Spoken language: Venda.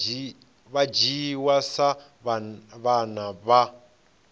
vha dzhiwa sa vhana vha